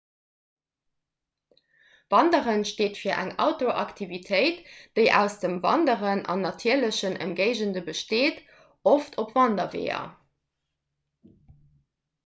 wanderen steet fir eng outdooraktivitéit déi aus dem wanderen an natierlechen ëmgéigende besteet oft op wanderweeër